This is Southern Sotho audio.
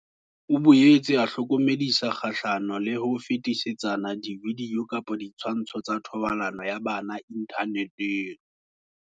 O boetse a hlokomedisa kgahlano le ho fetisetsana dividio kapa ditshwantsho tsa thobalano ya bana inthaneteng.